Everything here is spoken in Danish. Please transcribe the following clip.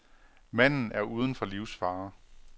Manden er uden for livsfare.